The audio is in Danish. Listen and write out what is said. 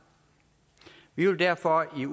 vi vil derfor i